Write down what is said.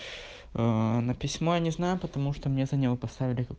ээ на письмо я не знаю потому что мне за него поставили